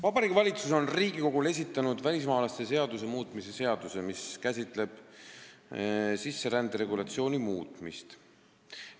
Vabariigi Valitsus on Riigikogule esitanud välismaalaste seaduse muutmise seaduse eelnõu, mis käsitleb sisserände regulatsiooni muutmist.